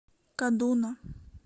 кадуна